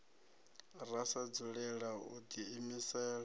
ra sa dzulela u diimisela